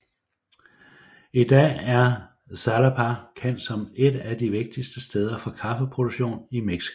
I dag er Xalapa kendt som et af de vigtigste steder for Kaffe produktion i Mexico